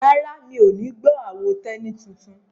Rárá, mi ò ní gbọ́ àwo Tẹ́ní tuntun?